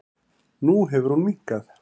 Nú hefur hún minnkað.